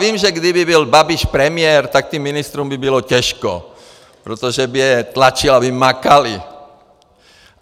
Vím, že kdyby byl Babiš premiér, tak těm ministrům by bylo těžko, protože by je tlačil, aby makali.